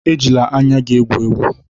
Ejila anya gị egwu egwu!